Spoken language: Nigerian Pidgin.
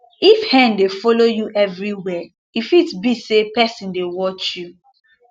if hen dey follow you everywhere e fit be say person dey watch you